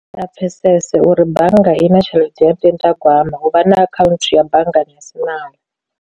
Ndi a pfhesese uri bannga i na tshelede yo ndindagwama u vha na akhaunthu ya banngani ya silala.